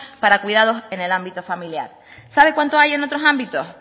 para cuidados en el ámbito familiar sabe cuánto hay en otros ámbitos